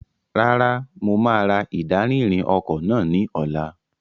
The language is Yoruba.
Rárá, mo máa ra ìdarí-ìrìn ọkọ̀ náà ní ọ̀la.